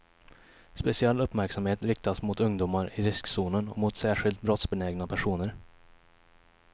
Speciell uppmärksamhet riktas mot ungdomar i riskzonen och mot särskilt brottsbenägna personer.